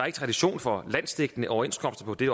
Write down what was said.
ikke tradition for landsdækkende overenskomster på det